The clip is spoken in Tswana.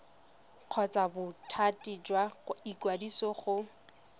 kgotsa bothati jwa ikwadiso go